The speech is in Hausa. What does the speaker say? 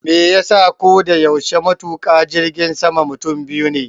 Meyasa koda yaushe matuƙa jirgin sama mutum biyu ne?